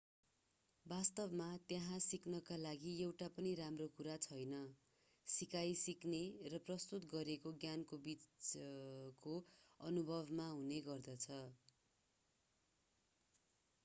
वास्तवमा त्यहाँ सिक्नका लागि एउटा पनि राम्रो कुरा छैन सिकाइ सिक्ने र प्रस्तुत गरिएको ज्ञानको बीचको अनुभवमा हुने गर्दछ